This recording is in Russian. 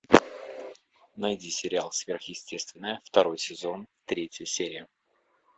найди сериал сверхъестественное второй сезон третья серия